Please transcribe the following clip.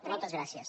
moltes gràcies